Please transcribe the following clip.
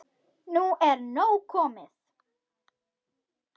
Nú er nóg komið